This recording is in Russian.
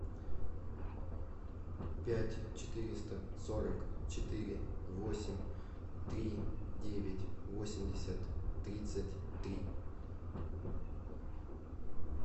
пять четыреста сорок четыре восемь три девять восемьдесят тридцать три